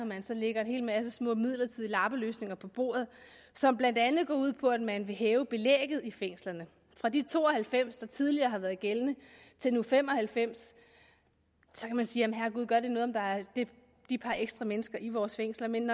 man så lægger en hel masse små midlertidige lappeløsninger på bordet som blandt andet går ud på at man vil hæve belægget i fængslerne fra de to og halvfems der tidligere har været gældende til nu fem og halvfems så kan man sige herregud gør det noget om der er de par ekstra mennesker i vores fængsler men